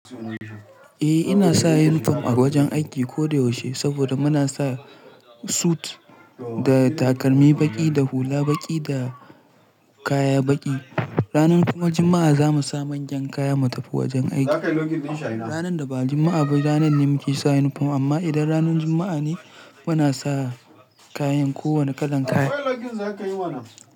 Eh ina sa uniform a wajen aiki koyaushe saboda muna sa sut da takalmi baƙi da hula baƙi da kaya baƙi. Ranar kuma Juma'a za mu sa manyan kaya mu tafi wajen aiki. Ranar da ba Juma'a ba ranar ne muke sa yunifom amma idan ranar Juma'a ne muna sa kayan kowane kalan kaya.